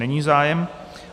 Není zájem.